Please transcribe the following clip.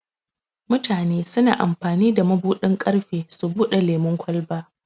Mutane suna amfani da mabuɗin ƙarfe su bude lemun ƙwalba.